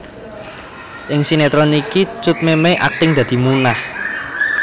Ing sinetron iki Cut Memey akting dadi Munah